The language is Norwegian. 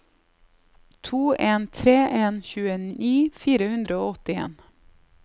to en tre en tjueni fire hundre og åttien